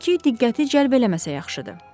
Hay-küy diqqəti cəlb eləməsə yaxşıdır.